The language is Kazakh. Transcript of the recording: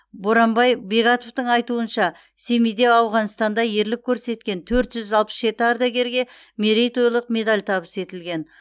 боранбай бегатовтың айтуынша семейде ауғанстанда ерлік көрсеткен төрт жүз алпыс жеті ардагерге мерейтойлық медаль табыс етілген